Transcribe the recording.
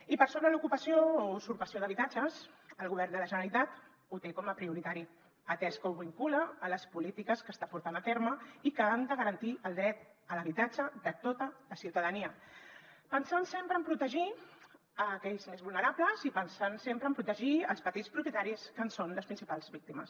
i sobre l’ocupació o usurpació d’habitatges el govern de la generalitat ho té com a prioritari atès que ho vincula a les polítiques que està portant a terme i que han de garantir el dret a l’habitatge de tota la ciutadania pensant sempre en protegir aquells més vulnerables i pensant sempre en protegir els petits propietaris que en són les principals víctimes